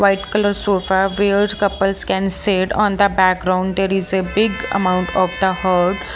white color sofa where the couples can sit on the background there is a big amount of the .